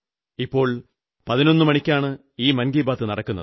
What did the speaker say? ഇപ്പോൾ 11 മണിക്കാണ് ഈ മൻ കീ ബാത് നടക്കുന്നത്